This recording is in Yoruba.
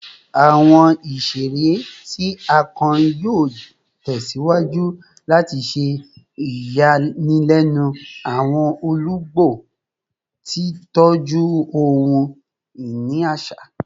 Awọn iṣere ti a kọrin yoo tẹsiwaju lati ṣe iyanilẹnu awọn olugbo, titọju ohun-ini aṣa